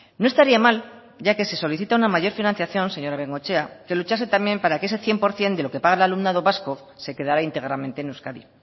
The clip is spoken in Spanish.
no estaría mal ya que se solicita una mayor financiación señora bengoechea que luchase también para que ese cien por ciento de lo que paga el alumnado vasco se quedará íntegramente en euskadi